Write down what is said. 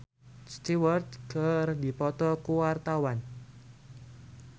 Tessa Kaunang jeung Rod Stewart keur dipoto ku wartawan